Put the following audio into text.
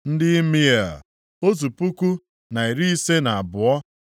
ndị Imea, otu puku, na iri ise na abụọ (1,052),